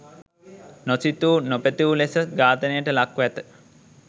නොසිතූ නොපැතූ ලෙස ඝාතනයට ලක්‌ව ඇත.